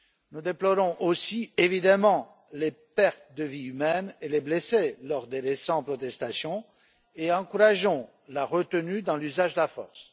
Nous déplorons aussi, évidemment, les pertes de vies humaines et les blessés lors des récentes protestations et encourageons la retenue dans l'usage de la force.